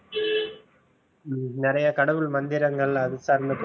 ஹம் நிறைய கடவுள் மந்திரங்கள் அதை சார்ந்த